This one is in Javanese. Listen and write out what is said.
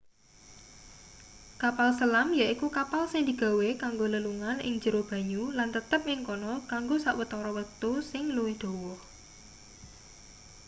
kapal selam yaiku kapal sing digawe kanggo lelungan ing jero banyu lan tetep ing kana kanggo sawetara wektu sing luwih dawa